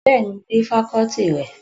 Bẹ́ẹ̀ni, mo rí fakọ́ọ́tì rẹ̀